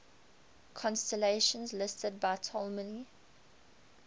constellations listed by ptolemy